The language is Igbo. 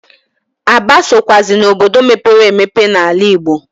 Aba sokwụazi n'obodo mepere emepe n'ala Igbo.